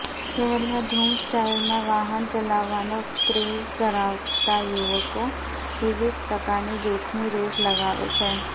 શહેરમાં ધુમ સ્ટાઇલમાં વાહન ચલાવવાનો ક્રેઝ ધરાવતા યુવકો વિવિધ પ્રકારની જોખમી રેસ લગાવે છે